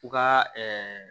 U ka